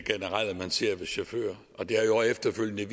generelle man ser hos chauffører og det har jo efterfølgende